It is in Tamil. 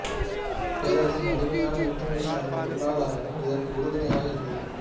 பேரரசின் வலிமையான ஏற்றுமதி சார்ந்த பொருளாதாரமும் இதற்கு உறுதுணையாக இருந்தது